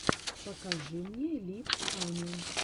покажи мне либ аня